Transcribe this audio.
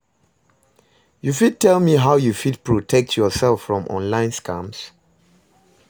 You fit tell me how you fit protect yourself from online scams?